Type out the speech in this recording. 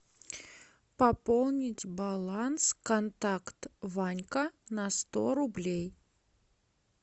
пополнить баланс контакт ванька на сто рублей